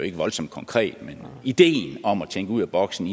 er voldsomt konkret men ideen om at tænke ud af boksen